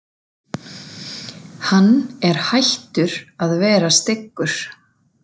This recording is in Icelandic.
Hann er hættur að vera styggur